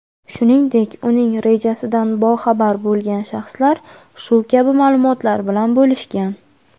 shuningdek uning rejasidan boxabar bo‘lgan shaxslar shu kabi ma’lumotlar bilan bo‘lishgan.